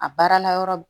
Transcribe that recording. A baara la yɔrɔ